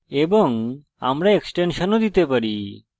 এবং আমরা এক্সটেনশন ও দিতে পারি